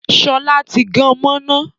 Sọlá tí gan mọ́ iná